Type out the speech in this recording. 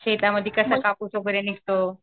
शेतामध्ये कसं कापूस वगैरे निघतो?